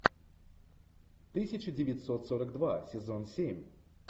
тысяча девятьсот сорок два сезон семь